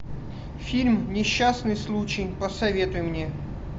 фильм несчастный случай посоветуй мне